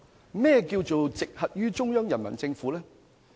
甚麼是"直轄於中央人民政府"？